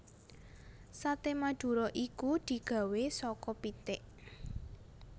Sate Madura iku digawé saka pitik